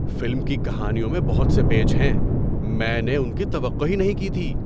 Film کی کہانیوں میں بہت سے پیچ ہیں! میں نے ان کی توقع ہی نہیں کی تھی۔